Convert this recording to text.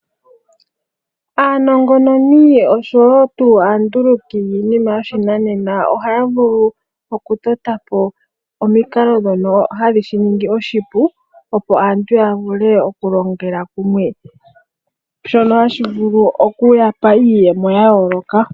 Aanongononi oshowo tuu aanduluki yiinima yoshinanena ohaya vulu oku tota po omikalo ndhono hadhi shi ningi oshipu, opo aantu ya vule oku longela kumwe, shono hashi vuluoku ya pa iiyemo ya yooloka.